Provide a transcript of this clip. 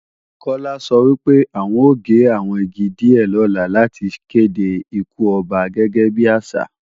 Kọ́lá sọ pé, àwọn ó gé àwọn igi díè lọ́la láti kède ikú Ọba gẹ́gẹ́ bí àṣà